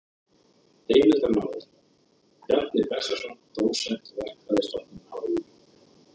Heimildarmaður: Bjarni Bessason dósent, Verkfræðistofnun HÍ.